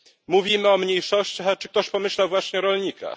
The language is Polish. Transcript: Mówimy o mniejszościach, ale czy ktoś pomyślał właśnie o rolnikach?